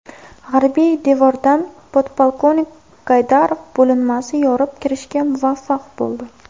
G‘arbiy devordan podpolkovnik Gaydarov bo‘linmasi yorib kirishga muvaffaq bo‘ldi.